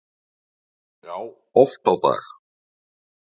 Já, oft á dag